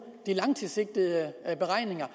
de langtidssikrede beregninger er